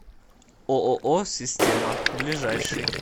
ооо система ближайший